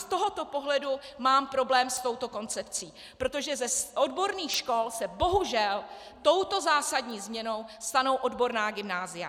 Z tohoto pohledu mám problém s touto koncepcí, protože z odborných škol se bohužel touto zásadní změnou stanou odborná gymnázia.